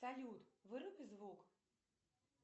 салют выруби звук